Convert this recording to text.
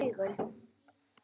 Hann opnar augun.